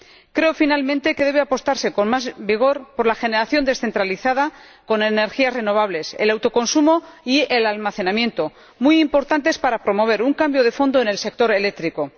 Creo, finalmente, que debe apostarse con más vigor por la generación descentralizada con energías renovables, el autoconsumo y el almacenamiento, muy importantes para promover un cambio de fondo en el sector eléctrico.